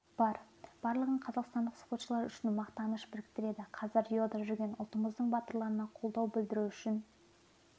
бар барлығын қазақстан спортшылары үшін мақтаныш біріктіреді қазір риода жүрген ұлтымыздың батырларына қолдау білдіру үшін